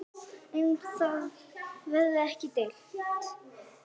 Um það verður ekki deilt.